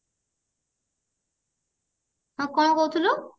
ହଁ କଣ କହୁଥିଲୁ